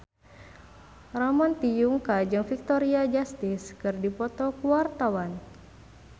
Ramon T. Yungka jeung Victoria Justice keur dipoto ku wartawan